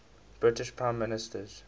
british prime ministers